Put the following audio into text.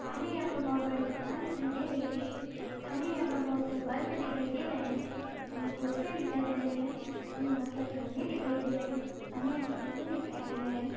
हमे यहा पर बहुत बड़ी दुकान दिखाई दे रही है। हमे यहा पर बहुत सारे बल्ब दिखाई दे रहे है। हमे कुरसिया दिखाई दे रही है। हमे बहुत सारे गमले दिखाई दे रहे है। हमे यहा पर फूल दिखाई दे रहे है।